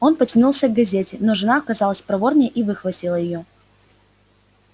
он потянулся к газете но жена оказалась проворнее и выхватила её